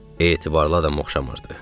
Etibarlı adama oxşamırdı.